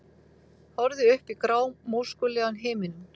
Horfði upp í grámóskulegan himininn.